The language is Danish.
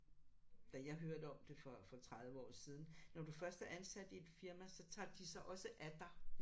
Da jeg hørte om det for for 30 år siden når du først er ansat i et firma så tager de sig også af dig